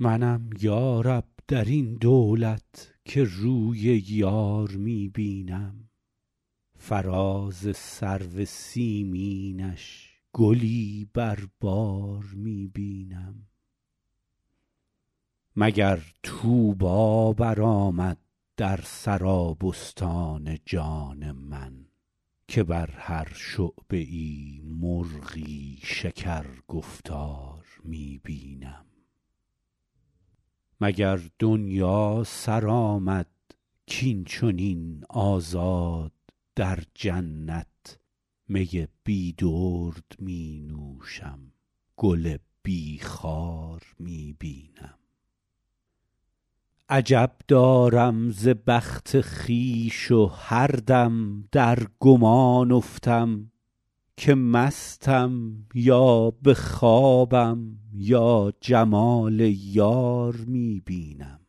منم یا رب در این دولت که روی یار می بینم فراز سرو سیمینش گلی بر بار می بینم مگر طوبی برآمد در سرابستان جان من که بر هر شعبه ای مرغی شکرگفتار می بینم مگر دنیا سر آمد کاین چنین آزاد در جنت می بی درد می نوشم گل بی خار می بینم عجب دارم ز بخت خویش و هر دم در گمان افتم که مستم یا به خوابم یا جمال یار می بینم